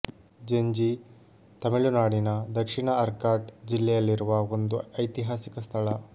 ಜಿಂಜೀ ತಮಿಳು ನಾಡಿನ ದಕ್ಷಿಣ ಆರ್ಕಾಟ್ ಜಿಲ್ಲೆಯಲ್ಲಿರುವ ಒಂದು ಐತಿಹಾಸಿಕ ಸ್ಥಳ